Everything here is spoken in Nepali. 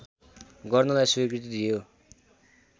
गर्नलाई स्वीकृति दियो